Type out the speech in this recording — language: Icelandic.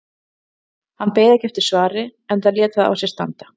Hann beið ekki eftir svari enda lét það á sér standa.